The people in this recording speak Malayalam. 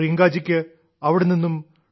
പ്രിയങ്കാജിക്ക് അവിടെനിന്ന് ഡോ